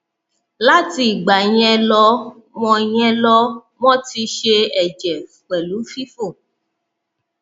láti ìgbà yẹn lọ won yẹn lọ won ti n se ẹjẹ pelu fifò